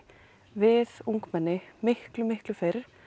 við ungmenni miklu miklu fyrr